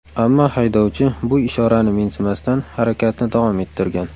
Ammo haydovchi bu ishorani mensimasdan, harakatni davom ettirgan.